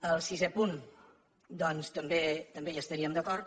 amb el sisè punt doncs també hi estaríem d’acord